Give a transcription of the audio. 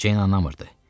Jane anladı.